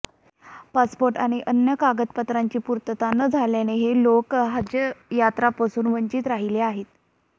passport आणि अन्य कागदपत्रांची पूर्तता न झाल्यानं हे लोक हजयात्रेपासून वंचित राहिले आहेत